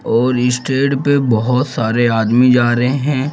और इस ट्रैड पे बहुत सारे आदमी जा रहे हैं |